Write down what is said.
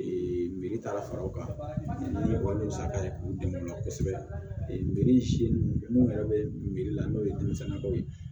miiri tara fara o kan ni o ye musaka ye k'u dɛmɛ kosɛbɛ birisi ninnu yɛrɛ bɛrila n'o ye denmisɛnyaw ye